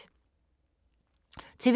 TV 2